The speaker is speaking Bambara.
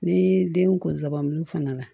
Ni den kunsabali fana